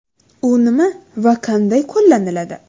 U nima va qanday qo‘llaniladi?.